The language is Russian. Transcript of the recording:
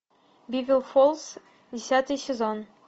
бивер фолз десятый сезон